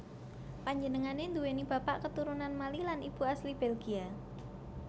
Panjenengané nduwèni bapak keturunan Mali lan ibu asli Belgia